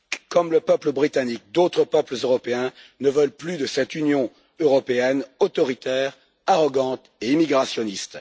Comme le peuple britannique, d'autres peuples européens ne veulent plus de cette Union européenne autoritaire, arrogante et immigrationniste.